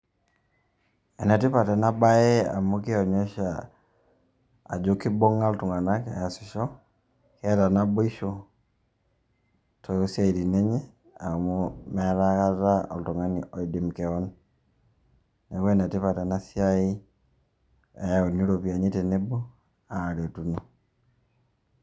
enetipat ena bae amu kionyesha ajo kibunga iltungana easisho, keeta naiboisho tosiatin enye, amu meeta akata oltungani oidim kewan, niaku enetipat ena siai eanu iropiani tenebo ,Aretuno.